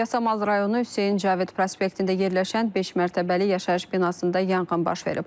Yasamal rayonu Hüseyin Cavid prospektində yerləşən beş mərtəbəli yaşayış binasında yanğın baş verib.